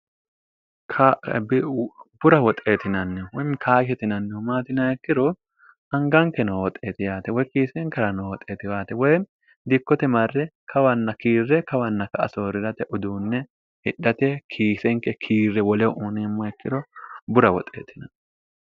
k'ebi bura woxeetinanni mi kaahetinannihu maatinaekkiro hangankenoo hoxeeti yaate woy kiisenkira noo hoxeetiwaate woy diikkote marre kawanna kiirre kawanna ka asoori'rate uduunne hidhate kiisenke kiirre wole uniimma ikkiro bura woxeetinan